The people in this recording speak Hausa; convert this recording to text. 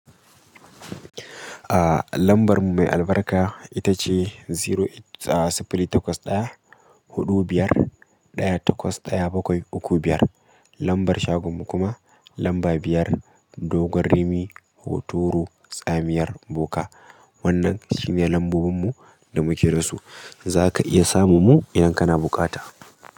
A lambarmu mai albarka ita ce zero e ah sifili taƙwas ɗaya huɗu biyar ɗaya taƙwas ɗaya ukku biyar. Lambar shagon mu kuma lamba biyar dogon rimi hotoro tsamiyar boka. Wannan shine lambobinmu da muke rasu. Zaka iya samun mu idan kana buƙata.